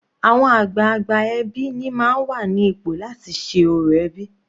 Àwọn àgbààgbà ẹbí ni máa ń wà ní ipò láti ṣe orò ẹbí.